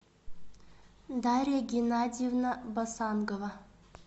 дарья геннадьевна басангова